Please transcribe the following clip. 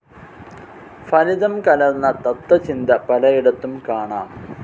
ഫലിതം കലർന്ന തത്വചിന്ത പലയിടത്തും കാണാം.